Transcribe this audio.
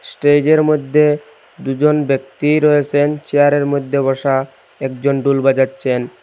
স্টেজের মইধ্যে দুজন ব্যক্তি রয়েসেন চেয়ারের মধ্যে বসা একজন ডোল বাজাচ্ছেন।